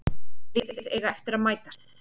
Þessi lið eiga eftir að mætast